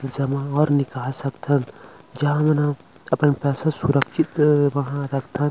जमा और निकाल सकन जहाँ आपन पैसा सुरक्षित वहाँ राखथन--